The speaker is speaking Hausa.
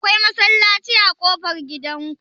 Akwai masallaci a ƙofar gidan ku?